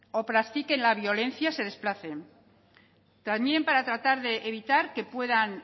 o practiquen la violencia se desplacen también para tratar de evitar que puedan